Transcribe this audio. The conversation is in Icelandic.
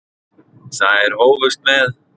Þær hófust með